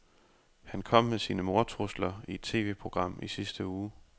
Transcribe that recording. Han kom med sine mordtrusler i et TVprogram i sidste uge.